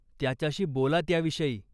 त्याच्याशी बोला त्याविषयी.